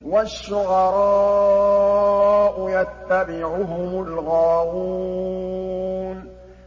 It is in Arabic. وَالشُّعَرَاءُ يَتَّبِعُهُمُ الْغَاوُونَ